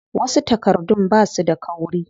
Wasu takardun basu da kauri.